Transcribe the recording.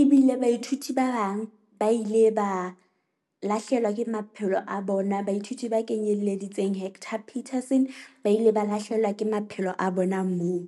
ebile baithuti ba bang ba ile ba lahlehelwa ke maphelo a bona, baithuti ba kenyelleditseng Hector Peterson ba ile ba lahlehelwa ke maphelo a bona moo.